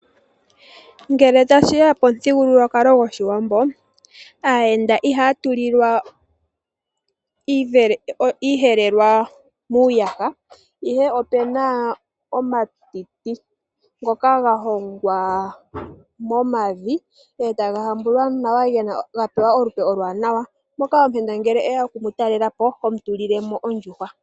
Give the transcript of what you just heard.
Ngele tashi ya pomuthigululwakalo goshiwambo, aayenda ihaya tulilwa iiyelelwa muuyaha, ihe opuna omatiti ngoka ga hongwa momavi, e taga hambulwa nawa, ga pewa olupe oluwaanawa, moka ngele omuyenda ngele e ya oku mu talela po, ho mu tulile mo ondjuhwa.